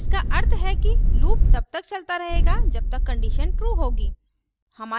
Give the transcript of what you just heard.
इसका अर्थ है कि loop तब तक चलता रहेगा जब तक condition true होगी